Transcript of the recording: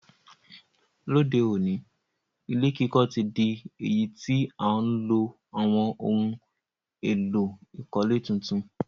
Lóde òní, ilé kíkọ́ ti dí èyí ti a ti n lo àwon oun èló ìkọ́lé tuntun